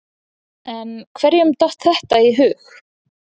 En hverjum datt þetta í hug?